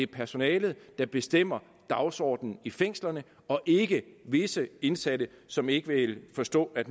personalet der bestemmer dagsordenen i fængslerne og ikke visse indsatte som ikke vil forstå at